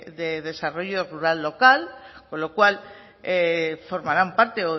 de desarrollo rural local con lo cual formarán parte